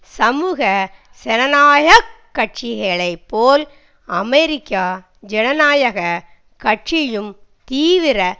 சமூக ஜனநாயக கட்சிகளைப்போல் அமெரிக்கா ஜனநாயக கட்சியும் தீவிர